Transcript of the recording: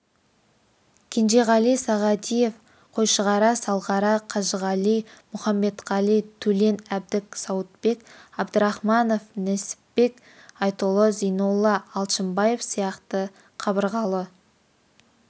кенжеғали сағадиев қойшығара салғара қажығали мұхамбетқали төлен әбдік сауытбек абдрахманов несіпбек айтұлы зейнолла алшынбаев сияқты қабырғалы